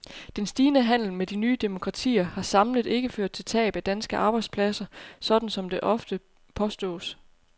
Den stigende handel med de nye demokratier har samlet ikke ført til tab af danske arbejdspladser, sådan som det ofte påstås.